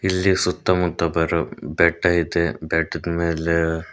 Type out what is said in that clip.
ಇಲ್ಲಿ ಸುತ್ತಮುತ್ತ ಬರೊ ಬೆಟ್ಟ ಐತೆ ಬೆಟ್ಟದ ಮೇಲೆ--